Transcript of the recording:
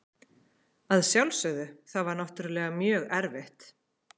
Að sjálfsögðu, það var náttúrulega mjög erfitt.